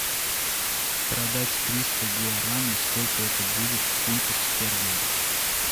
продать триста гуарани сколько это будет в фунтах стерлингах